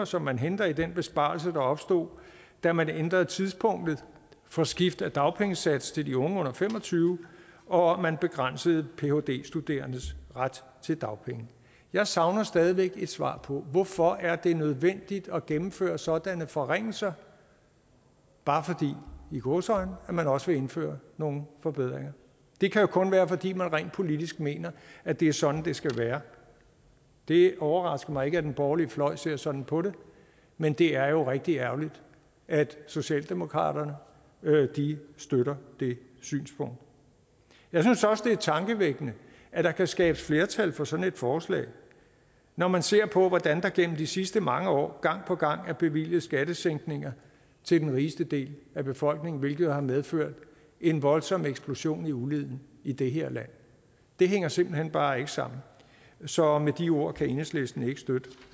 som man henter i den besparelse der opstod da man ændrede tidspunktet for skift af dagpengesats til de unge under fem og tyve år og man begrænsede phd studerendes ret til dagpenge jeg savner stadig væk et svar på hvorfor det er nødvendigt at gennemføre sådanne forringelser bare i gåseøjne fordi man også vil indføre nogle forbedringer det kan jo kun være fordi man rent politisk mener at det er sådan det skal være det overrasker mig ikke at den borgerlige fløj ser sådan på det men det er jo rigtig ærgerligt at socialdemokratiet støtter det synspunkt jeg synes også det er tankevækkende at der kan skabes flertal for sådan et forslag når man ser på hvordan der gennem de sidste mange år gang på gang er bevilget skattesænkninger til den rigeste del af befolkningen hvilket har medført en voldsom eksplosion i uligheden i det her land det hænger simpelt hen bare ikke sammen så med de ord kan enhedslisten ikke støtte